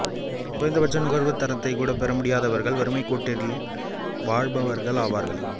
குறைந்த பட்ச நுகர்வுத் தரத்தைக் கூட பெற முடியாதவர்கள் வறுமைக்கோட்டில் வாழ்பவர்கள் ஆவார்கள்